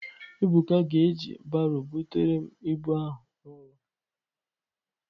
Ebuka ga eji baro butere m ịbụ ahụ n'ụlọ